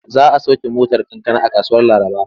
Za a sauke motar kankana a kasuwar Laraba.